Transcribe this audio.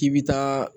K'i bi taa